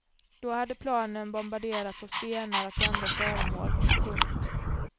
Då hade planen bombarderats av stenar och andra föremål. punkt